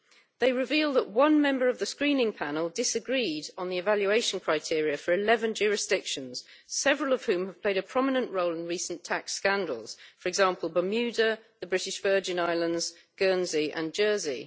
They reveal that one member of the screening panel disagreed on the evaluation criteria for 11 jurisdictions, several of which have played a prominent role in recent tax scandals for example, Bermuda, the British Virgin Islands, Guernsey and Jersey.